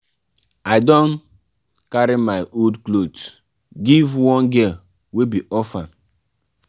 i don carry my old clothes give one girl wey be orphan.